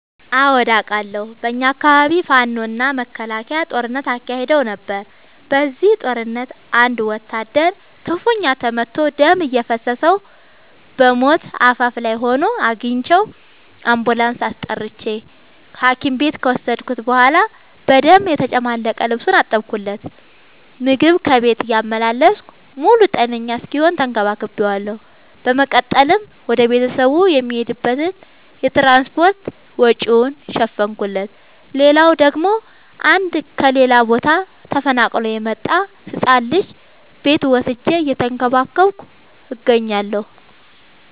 አዎድ አቃለሁ። በኛ አካባቢ ፋኖ እና መከላከያ ጦርነት አካሂደው ነበር። በዚህ ጦርነት አንድ ወታደር ክፋኛ ተመቶ ደም እየፈሰሰው በሞት አፋፍ ላይ ሆኖ አግኝቼው። አንቡላንስ አስጠርቼ ሀኪም ቤት ከወሰድከት በኋላ በደም የተጨማለቀ ልብሱን አጠብለት። ምግብ ከቤት እያመላለስኩ ሙሉ ጤነኛ እስኪሆን ተከባክ ቤዋለሁ። በመቀጠልም ወደ ቤተሰቡ የሚሄድበትን የትራንስፓርት ወጪውን ሸፈንኩለት። ሌላላው ደግሞ አንድ ከሌላ ቦታ ተፈናቅሎ የመጣን ህፃን ልጅ ቤቴ ወስጄ እየተንከባከብኩ እገኛለሁ።